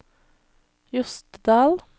Jostedal